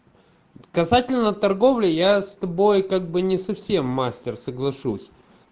касательно торговли я с тобой как бы не совсем мастер соглашусь